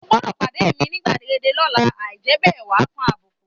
O gbọdọ̀ pàdé mi ni gbàgede lọ́la, àì jẹ́ bẹ́ẹ̀ wàá kan àbùkù